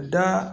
Da